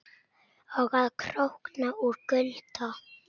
Og að krókna úr kulda.